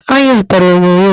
Anyị zụtala onyonyo